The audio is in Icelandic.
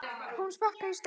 Hún sparkar í stein.